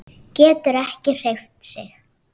Getur ekki hreyft sig.